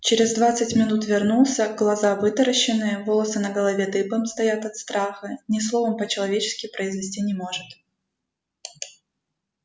через двадцать минут вернулся глаза вытаращенные волосы на голове дыбом стоят от страха ни слова по-человечески произнести не может